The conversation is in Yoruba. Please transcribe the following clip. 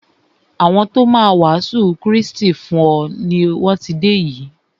Àwọn ti o má a wàásù Krístì fún e lọ ti dé yìí.